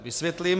Vysvětlím.